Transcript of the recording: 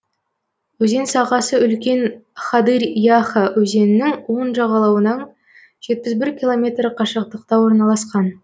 өзен сағасы үлкен хадырь яха өзенінің оң жағалауынан жетпіс бір километр қашықтықта орналасқан